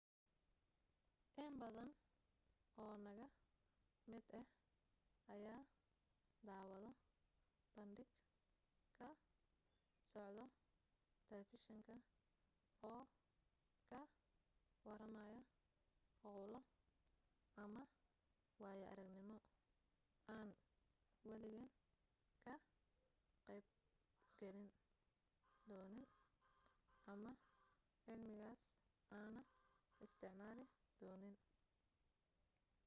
in badan oo naga mid ah ayaa daawado bandhig ka socdo telefishinka oo ka waramaayo hawl ama waayo aragnimo aan waligeen ka qayb gali doonin ama cilmigaas aana isticmaali doonin